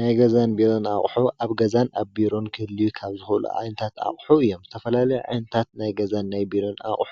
ናይገዛን ቢሮን ኣቕሑ ኣብ ገዛን ኣብ ቢሮን ክል ካብ ዝኽሉ ኣንታት ኣቕሑ እዮም ዝተፈላለ ዕንታት ናይገዛን ናይ ብሮን ኣቝሑ